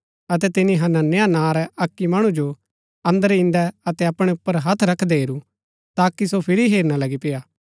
अतै तिनी हनन्याह नां रै अक्की मणु जो अंदर ईन्दै अतै अपणै ऊपर हत्थ रखदै हेरू ताकि सो फिरी हेरना लगी पेय्आ